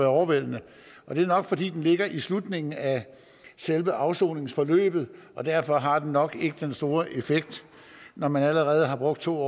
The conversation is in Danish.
overvældende og det er nok fordi den ligger i slutningen af selve afsoningsforløbet derfor har den nok ikke den store effekt når man allerede har brugt to